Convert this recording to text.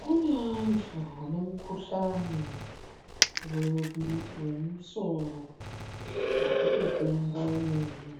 Kune vantu vane mukuhlani wemusoro, wekutopenga wemene.